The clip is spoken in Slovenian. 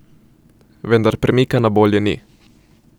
Vendar premika na bolje ni.